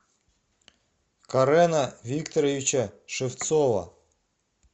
карена викторовича шевцова